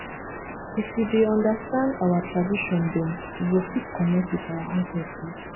if you dey understand our tradition dem you go fit connect with our ancestors